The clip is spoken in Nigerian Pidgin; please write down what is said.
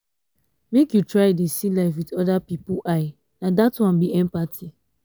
make you try dey see life wit other pipu eye na dat one be empathy.